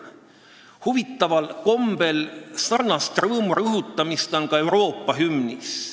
Huvitaval kombel on sarnast rõõmu rõhutamist Euroopa hümnis.